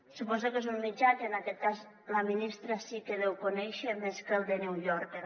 suposo que és un mitjà que en aquest cas la ministra sí que deu conèixer més que el the new yorker